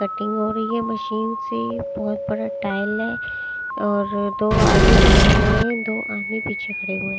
cutting हो रही है मशीन से बहोत बड़ा टाइल है और दो आदमी पकड़े हुए हैं दो आदमी पीछे खड़े हुए--